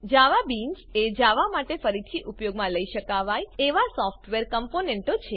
જવાબીન્સ એ જાવા માટે ફરીથી ઉપયોગમાં લઇ શકાવાય એવા સોફ્ટવેર કમ્પોનેંટો છે